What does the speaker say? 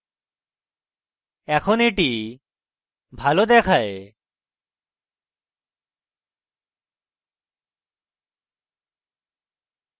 এখন এটি ভালো দেখায়